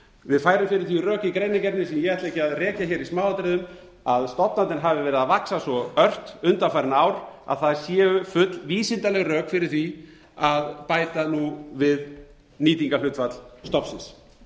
við færum fyrir því rök í greinargerðinni sem ég ætla ekki að rekja hér í smáatriðum að stofnarnir hafa verið að vaxa svo ört undanfarin ár að það séu full vísindaleg rök fyrir því að bæta nú við nýtingarhlutfall stofnsins